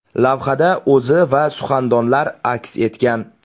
Lavhada o‘zi va suxandonlar aks etgan.